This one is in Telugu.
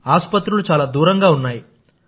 ఆసుపత్రులు చాలా దూరంగా ఉన్నాయి